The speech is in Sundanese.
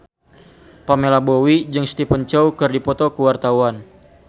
Pamela Bowie jeung Stephen Chow keur dipoto ku wartawan